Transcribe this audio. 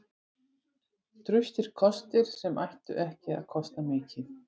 Traustir kostir sem ættu ekki að kosta mikið.